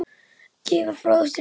gefa frá sér hljóð